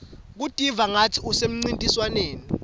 kutiva kungatsi usemcintiswaneni